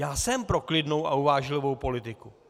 Já jsem pro klidnou a uvážlivou politiku.